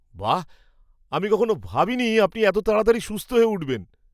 বাঃ! আমি কখনও ভাবিনি আপনি এত তাড়াতাড়ি সুস্থ হয়ে উঠবেন।